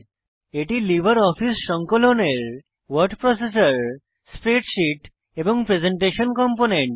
এটি লিব্রিঅফিস সংকলনের word processor spreadsheet এবং প্রেসেন্টেশন কম্পোনেন্ট